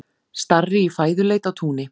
Starri í fæðuleit á túni.